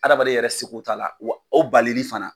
Adamaden yɛrɛ seko t'a la wa o balili fana